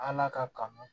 Ala ka kanu